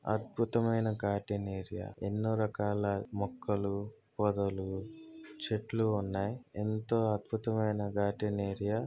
అద్భుతమైన garden area . ఎన్నో రకాల మొక్కలు పొదలు చెట్లు ఉన్నాయ్. ఎంతో అద్భుతమైన గార్డెన్ ఏరియా .